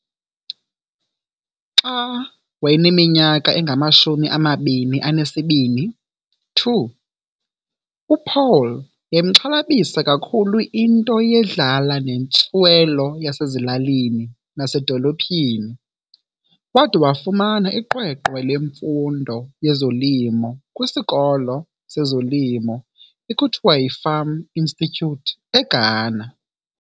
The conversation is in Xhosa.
Xa wayeneminyaka engamashumi amabini enesibini, 2, uPaul yayimxhalabisa kakhulu into yedlala nentswelo yasezilalini nasedolophini. Wade wafumana iqweqwe lemfundo yezolimo kwisikolo sezolimo ekuthiwa yiFarm Institute eGhana.